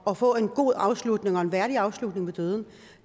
at få en god afslutning og en værdig afslutning ved døden